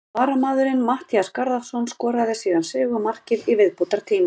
Varamaðurinn Matthías Garðarsson skoraði síðan sigurmarkið í viðbótartíma.